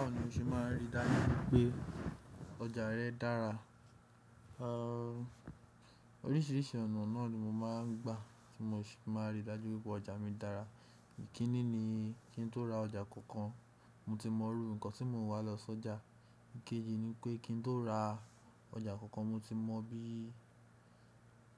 Báwo ni o ṣe máa rí i dájú pé ọjà rẹ dára? Oríṣiríṣi ọ̀nà náà ni mo máa ń gbà tí mo ṣe máa n rí i dájú wípé ọjà mi dára. Èyí kíní ni kí n tó ra ọjà kankan, mo ti mọrú nǹkan tí mo ń wá lọ sọ́jà. Ìkéji ni pé kí n tó ra ọjà kankan, mo ti mọ bí--